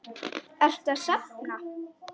Ertu að safna?